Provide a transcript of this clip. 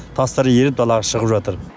тастары еріп далаға шығып жатыр